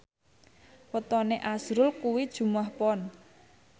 wetone azrul kuwi Jumuwah Pon